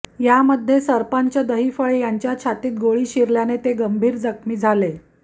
यामध्ये सरपंच दहिफळे यांच्या छातीत गोळी शिरल्याने ते गंभीर जखमी झाले